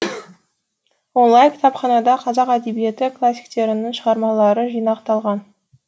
онлайн кітапханада қазақ әдебиеті классиктерінің шығармалары жинақталған